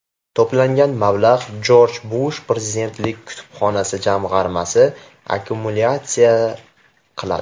To‘plangan mablag‘ Jorj Bush prezidentlik kutubxonasi jamg‘armasi akkumulyatsiya qiladi.